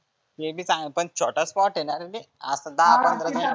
ते बी चांग पण छोटा spot आहे ना रे ते. आपण दहा पंधरा